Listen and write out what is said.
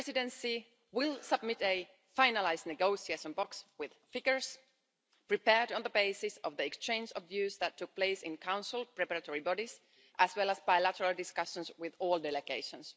Finnish Presidency will submit a finalised negotiation box with figures prepared on the basis of the exchange of views that took place in Council preparatory bodies, as well as bilateral discussions with all delegations.